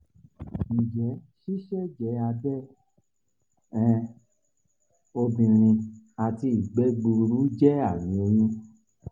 njẹ siseje abẹ um obinrin ati igbe gbuuru jẹ ami oyun?